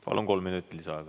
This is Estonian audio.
Palun, kolm minutit lisaaega.